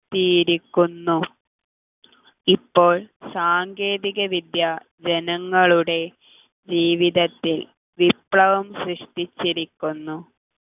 ത്തിയിരിക്കുന്നു ഇപ്പോൾ സാങ്കേതികവിദ്യ ജനങ്ങളുടെ ജീവിതത്തിൽ വിപ്ലവം സൃഷ്ടിച്ചിരിക്കുന്നു